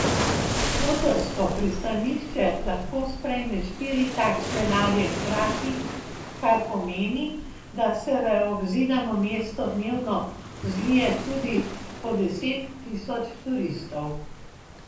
Kotorsko pristanišče lahko sprejme štiri takšne ladje hkrati, kar pomeni, da se v obzidano mesto dnevno zlije tudi po deset tisoč turistov.